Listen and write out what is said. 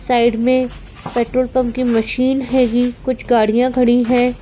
Side में petrol pump की machine हेगी कुछ गाड़ियां खड़ी हैं।